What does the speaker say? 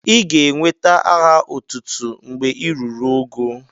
Ị ga enweta aha otútú mgbè ị rụrụ ógó